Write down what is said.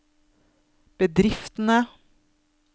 bedriftene